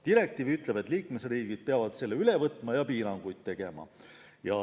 Direktiiv ütleb, et liikmesriigid peavad selle üle võtma ja piiranguid kehtestama.